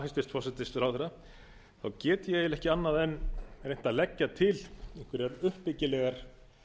hæstvirts forsætisráðherra get ég eiginlega ekki annað en reynt að leggja til einhverjar uppbyggilegar